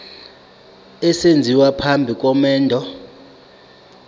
esenziwa phambi komendo